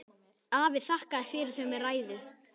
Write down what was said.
Afi þakkaði fyrir þau með ræðu.